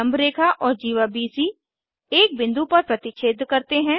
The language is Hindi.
लम्ब रेखा और जीवा बीसी एक बिंदु पर प्रतिच्छेद करते हैं